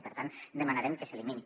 i per tant demanarem que s’elimini